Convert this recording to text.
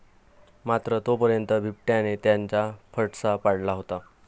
मात्र तोपर्यंत बिबट्याने त्याचा फडशा पाडला होता.